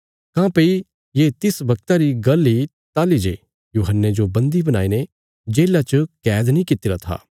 ये तिस वगता री गल्ल इ ताहली जे यूहन्ने जो बन्दी बणाईने जेल्ला च कैद नीं कित्तिरा था